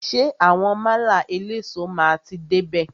Ṣé àwọn málà eléso máa ti dé bè?